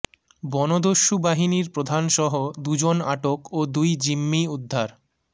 বনদস্যু বাহিনীর প্রধানসহ দুজন আটক ও দুই জিম্মি উদ্ধার